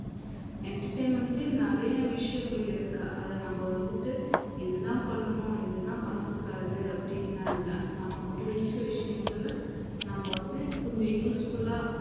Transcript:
entertainment லியே நிறைய விஷயங்கள் இருக்கு அத நம்ம வந்துட்டு இதுதான் பண்ணணும் இதுதான் பண்ணக் கூடாது அப்படின்னு எல்லாம் இல்லை நமக்கு பிடிச்ச விஷயங்களை நம்ம வந்து கொஞ்சம் useful ஆ